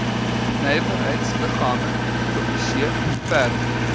nywerheidsliggame publiseer verder